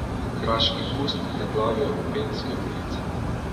Kraški pust preplavil Openske ulice.